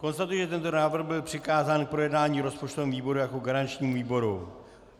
Konstatuji, že tento návrh byl přikázán k projednání rozpočtovému výboru jako garančnímu výboru.